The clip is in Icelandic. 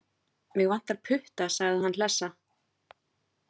Mig vantar bara putta, sagði hann hlessa.